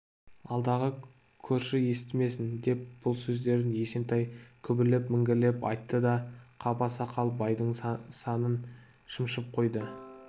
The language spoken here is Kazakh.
алдағы көрші естімесін деп бұл сөздерін есентай күбірлеп міңгірлеп айтты да қаба сақал байдың санын шымшып қойды